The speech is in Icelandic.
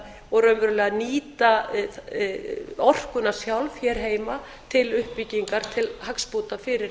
og raunverulega nýta orkuna sjálf hér heima til uppbyggingar til hagsbóta fyrir